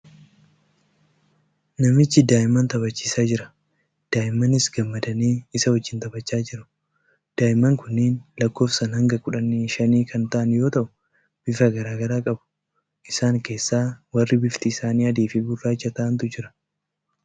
Namichi daa'imman taphachiisaa jira. Daa'immanis gammadanii isa wajjin taphachaa jiru. Daa'imman kunniin lakkoofsaan haga kudha shanii kan ta'an yoo ta'u, bifa garaa garaa qabu. Isaan keessa warri bifti isaanii adii fi gurraacha ta'antu jira.